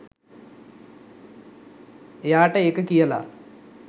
එයාට ඒක කියලා